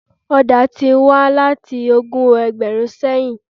Ọ̀dà tí wànláti ogún ẹgbẹ̀rún sẹ́yìn.